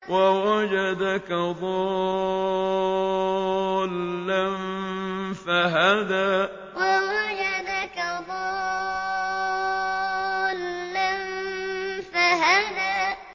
وَوَجَدَكَ ضَالًّا فَهَدَىٰ وَوَجَدَكَ ضَالًّا فَهَدَىٰ